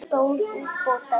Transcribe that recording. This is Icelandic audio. Gunnar stóð upp og dæsti.